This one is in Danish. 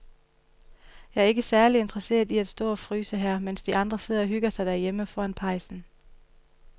Jeg er ikke særlig interesseret i at stå og fryse her, mens de andre sidder og hygger sig derhjemme foran pejsen.